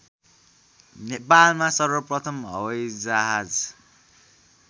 नेपालमा सर्वप्रथम हवाइजहाज